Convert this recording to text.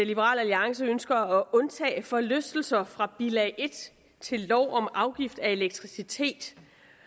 liberal alliance ønsker at undtage forlystelser fra bilag en til lov om afgift af elektricitet